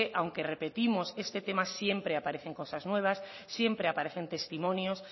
aunque repetimos este tema siempre aparecen cosas nuevas siempre aparecen testimonios